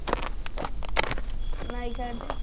ନାୟିକା ଟେ